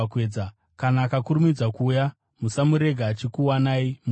Kana akakurumidza kuuya, musamurega achikuwanai muvete.